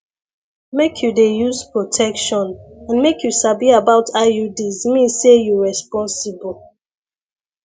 make you dey use protection and make you sabi about iuds mean say you responsible